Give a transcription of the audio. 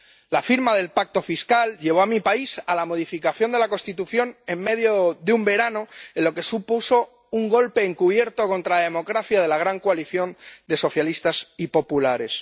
La firma del Pacto Presupuestario llevó a mi país a la modificación de la Constitución en medio de un verano, lo que supuso un golpe encubierto contra la democracia de la gran coalición de socialistas y populares.